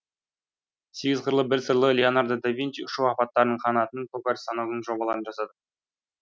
сегіз қырлы бір сырлы леонардо да винчи ұшу аппаратының қанатының токарь станогының жобаларын жасады